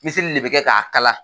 Miseli de bɛ kɛ k'a kala.